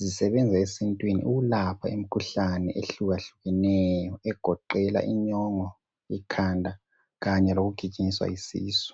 zisebenza esintwini ukulapha imikhuhlane ehlukahlukeneyo egoqela inyongo, ikhanda lokugijinyiswa yisisu.